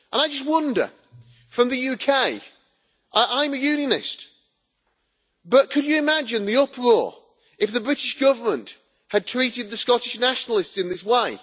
I just wonder, from the UK, I am a unionist, but could you imagine the uproar if the British government had treated the Scottish nationalists in this way?